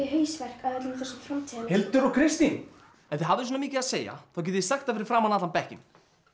hausverk af öllum þessum framtíðar Hildur og Kristín ef þið hafið svona mikið að segja þá getið þið sagt það fyrir framan allan bekkinn